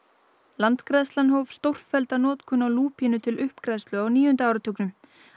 landgræðslan hóf stórfellda notkun á lúpínu til uppgræðslu á níunda áratugnum